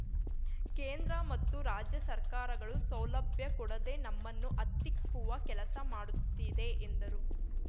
ಕೇಂದ್ರ ಮತ್ತು ರಾಜ್ಯ ಸರ್ಕಾರಗಳು ಸೌಲಭ್ಯ ಕೊಡದೇ ನಮ್ಮನ್ನು ಹತ್ತಿಕ್ಕುವ ಕೆಲಸಮಾಡುತ್ತಿದೆ ಎಂದರು